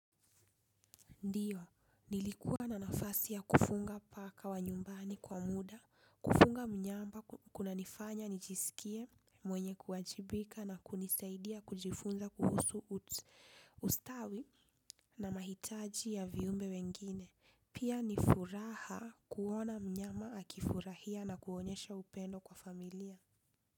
Ndio, nilikuwa na nafasi ya kufunga paka wa nyumbani kwa muda, kufunga mnyamba kuna nifanya nijisikie, mwenye kuwajibika na kunisaidia kujifunza kuhusu ustawi na mahitaji ya viumbe wengine. Pia ni furaha kuona mnyama akifurahia na kuonyesha upendo kwa familia.